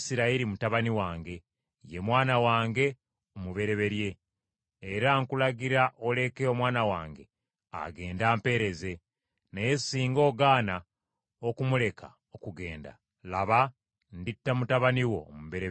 era nkulagira oleke omwana wange agende ampeereze; naye singa ogaana okumuleka okugenda, laba, nditta mutabani wo omubereberye.’ ”